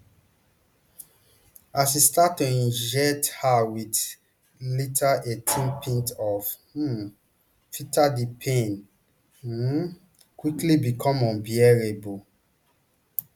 as e start to inject her wit litre eighteen pints of um filler di pain um quickly become unbearable